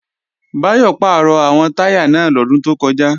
Báyọ̀ pàrọ̀ àwọn táyà náà lọ́dún tó kọjá